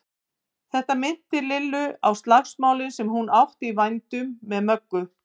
Þetta minnti Lillu á slagsmálin sem hún átti í vændum með Möggu.